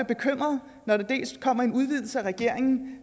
bekymret når der kommer en udvidelse af regeringen